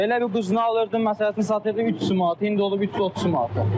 Belə bir quzunu alırdım məsəl üçün 300 manata, indi olub 330 manata.